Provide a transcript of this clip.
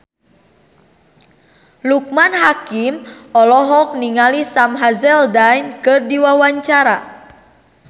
Loekman Hakim olohok ningali Sam Hazeldine keur diwawancara